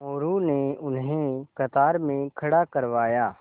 मोरू ने उन्हें कतार में खड़ा करवाया